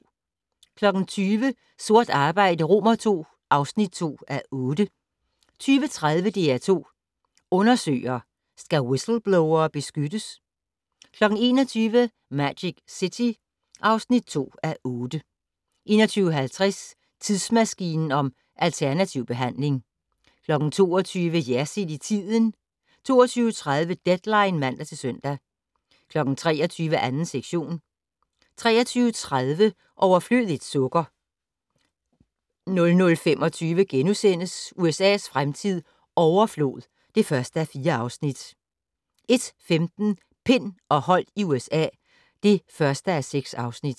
20:00: Sort arbejde II (2:8) 20:30: DR2 Undersøger: Skal whistleblowere beskyttes? 21:00: Magic City (2:8) 21:50: Tidsmaskinen om alternativ behandling 22:00: Jersild i tiden 22:30: Deadline (man-søn) 23:00: 2. sektion 23:30: Overflødigt sukker 00:25: USA's fremtid - overflod (1:4)* 01:15: Pind og Holdt i USA (1:6)